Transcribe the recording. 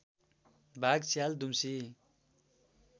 बाघ स्याल दुम्सी